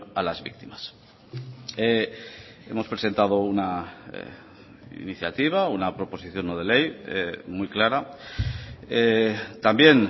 a las víctimas hemos presentado una iniciativa una proposición no de ley muy clara también